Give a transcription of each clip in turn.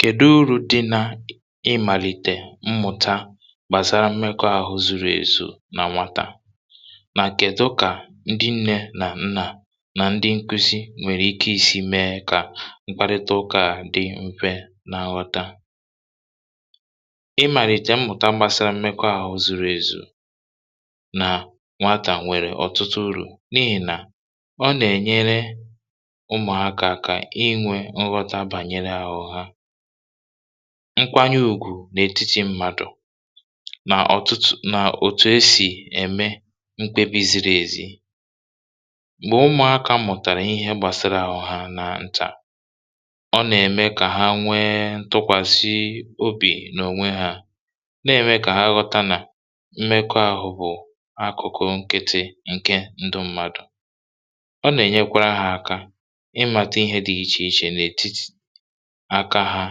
Kèdụ̀ urù dị n’ịmàlìtè mmụ̀ta gbàsara mmekọ̇ ahụ̀ zuru èzù nà nwatà, nà kèdụ̀ kà ndị nne nà nna, nà ndị nkwụsị, nwèrè ike isi mee kà mkparịta ụkà dị mfe nà nghọta?.. Ịmàlìtè mmụ̀ta gbasara mmekọ̇ ahụ̀ zuru èzù nà nwatà, nwèrè ọ̀tụtụ̀ urù, n’ihì nà nkwanye ùgwù n’etiti mmadụ̀ nà ọ̀tùtù̀, nà òtù esì ème nkwekọrịta um n’oge a. M̀gbè ụmụ̀aka mụ̀tàrà ihe gbasara àhụ̇ hȧ nà ntà, ọ nà-ème kà ha nwee ntụkwàsị obi n’ònwe hȧ, nà-ème kà ha ghọta nà mmekọ̇ ahụ̀ bụ̀ akụ̀kụ̀ nkịtị nke ndụ̀ mmadụ̀. Àka ha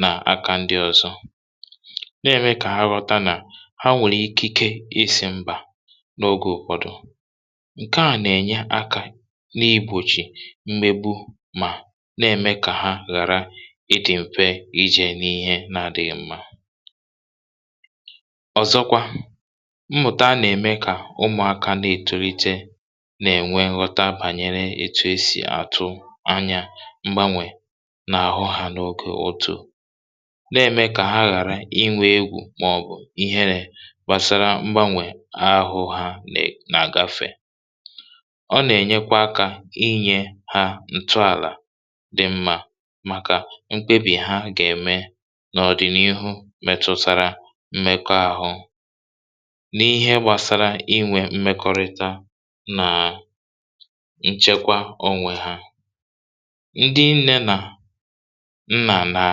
nà aka ndị ọ̀zọ, nà-èmekwa kà ha rọta nà ha nwèrè ikike isi m̀bà n’oge ụ̀kwọdụ.. Ǹkè à nà-ènya akà n’igbochì mgbèbù, mà na-èmekwa kà ha ghàra ịdị mfe ijè n’ihe na-adịrịghị mma. Ọzọkwa, mmụ̀ta nà-èmekwa kà ụmụ̀aka na-ètùrị̀te nà-ènwe nghọta gbasara um otú e si àtụ mgbanwè n’àhụ̇ hȧ n’oge, nà-èmekwa kà ha ghàra inwè egwù̀ màọ̀bụ̀ ihe gbasara mgbanwè ahụ̇ ha nè nà gafè. Ọ nà-ènye kwa akà, inyè ha ntù àlà dị mma um maka mkpebì ha gà-èmè n’ọ̀dị̀nihu metụtara mmekọ̇ ahụ̇, n’ihe gbasara inwè mmekọrịta nà nchekwa onwe hȧ. Ndị nne nà nna, nà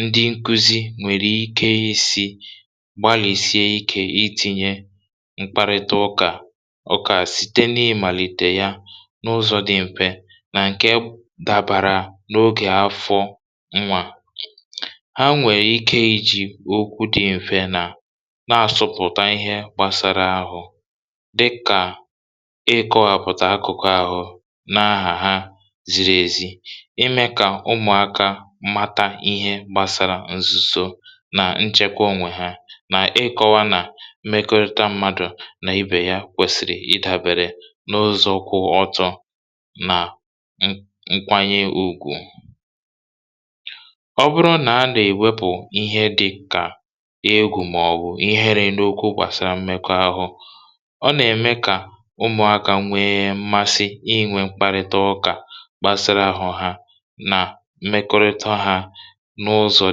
ndị nkụzi, nwèrè ike isi gbalìsie ike um itinye mkparịta ụkà site n’ịmàlìtè ya n’ụzọ̇ dị mfe nà ǹkè dàbàrà n’oge afọ nwà ha. Ha nwèrè ike iji okwu dị mfe, nà na-asụpụ̀ta ihe gbasara àhụ̇, dịkà ị kọwàpụ̀ta akụ̀kụ̀ àhụ̇ na-ahà ha ziri ezi, ime kà ụmụ̀aka mata ihe gbasara ǹzùso nà nchekwa onwe hȧ... Ọzọkwa, nà-èkọwa nà mmekọrịta mmadụ̀ nà ibe ya kwèsìrì idàbèrè n’ụzọ̀ kwụ ọtọ̇ nà nkwanye ùgwù. Ọ bụrụ nà a nà-èwepụ̀ ihe dị kà egwù̀ màọ̀bụ̀ ihere n’okwu gbasara mmekọ̇ ahụ̇, ọ nà-ème kà ụmụ̀aka um nwee mmasi inwè mkparịta ụkà nà mmekọrịta hȧ n’ụzọ̇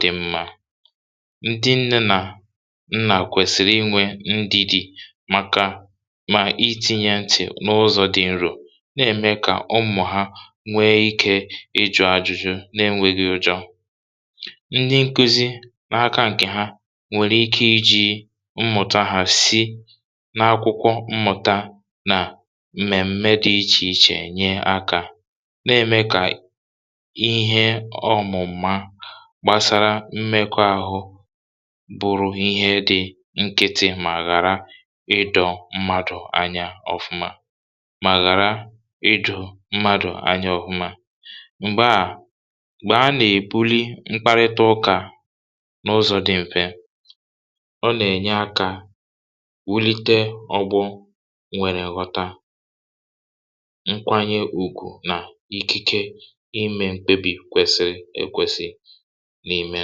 dị mma. Ndị nne nà nna kwèsìrì inwè ndìdì um maka ịtinye ntị n’ụzọ̇ dị nro, n’ihì nà nke a nà-èmè kà ụmụ̀ hȧ nwee ike ijù ajụjụ n’enwèghi ụjọ̇. Ndị nkụzi n’aka ǹkè ha, nwèrè ike iji mmụ̀ta hà si n’akwụkwọ mmụ̀ta nà mmèdụ̀ dị iche iche um enye akà, n’ihì nà nke a nà-èmè kà ihe ọmụ̀mà gbasara mmekọ̇ ahụ̇ bụrụ ihe nkịtị, ghàrà ịdọ̀ mmadụ̀ anya ọ̀fụ̀ma. M̀gbè a nà-èbuli mkparịta ụkà n’ụzọ̇ dị mfe, ọ nà-ènye akà wulite ọgbụ̀, nwèrè nghọta, nkwanye ùgwù nà n’ime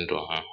ndụ̀ ahụ̀.